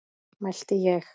mælti ég.